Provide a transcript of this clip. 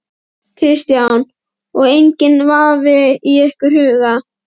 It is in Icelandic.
Kristján: Og enginn vafi í ykkar huga?